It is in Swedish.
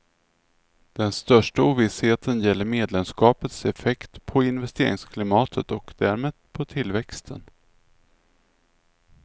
Den största ovissheten gäller medlemskapets effekt på investeringsklimatet och därmed på tillväxten.